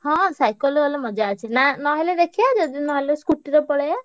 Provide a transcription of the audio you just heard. ହଁ cycle ରେ ଗଲେ ମଜା ଅଛି। ନା ନହେଲେ ଦେଖିଆ ଯଦି ନହେଲେ scooty ରେ ପଳେଇଆ।